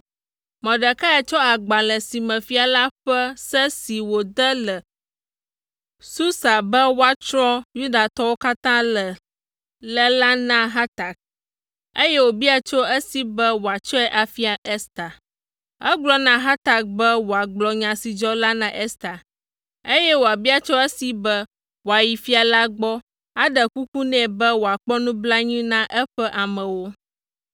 Mordekai tsɔ agbalẽ si me fia la ƒe se si wòde le Susa be woatsrɔ̃ Yudatɔwo katã le la na Hatak, eye wòbia tso esi be wòatsɔe afia Ester. Egblɔ na Hatak be wòagblɔ nya si dzɔ la na Ester, eye wòabia tso esi be wòayi fia la gbɔ, aɖe kuku nɛ be wòakpɔ nublanui na eƒe amewo.